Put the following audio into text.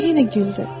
O yenə güldü.